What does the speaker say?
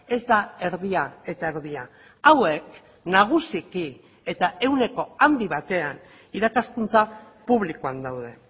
ez da erdia eta erdia hauek nagusiki eta ehuneko handi batean irakaskuntza publikoan daude